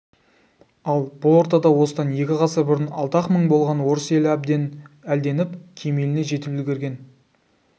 ал бұл ортада осыдан екі ғасыр бұрын алты-ақ мың болған орыс елі әбден әлденіп кемеліне жетіп үлгірген